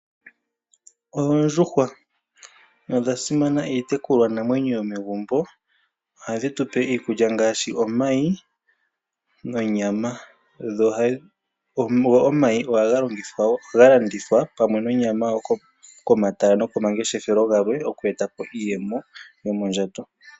Oondjuhwa odha simana iitekulwanamwenyo yomegumbo. Ohadhi tu pe iikulya ngaashi omayi nonyama. Omayi ohaga longithwawo , ohaga landithwa komatala pamwe nonyama komatala nokomangeshefelo gamwe oku eta po iiyemo yomondjato.